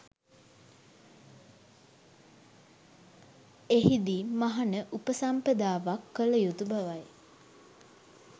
එහිදී මහණ උපසම්පදාවක් කළ යුතු බවයි.